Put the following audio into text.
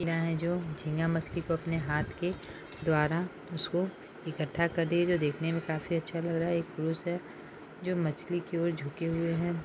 यहा जो झींगा मछली को अपने हाथ के द्वारा उसको इकट्ठा कर रही है जो देखने में काफी अच्छा लग रहा है एक पुरुष है जो मछली की ओर झुके हुए हैं।